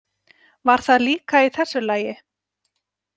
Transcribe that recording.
Var það líka í þessu lagi?